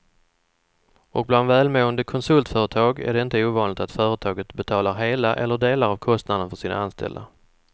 Och bland välmående konsultföretag är det inte ovanligt att företaget betalar hela eller delar av kostnaden för sina anställda.